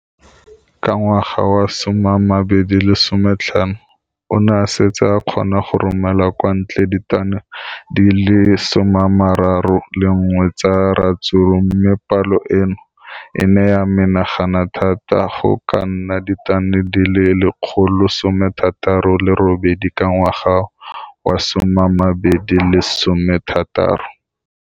Ka ngwaga wa 2015, o ne a setse a kgona go romela kwa ntle ditone di le 31 tsa ratsuru mme palo eno e ne ya menagana thata go ka nna ditone di le 168 ka ngwaga wa 2016.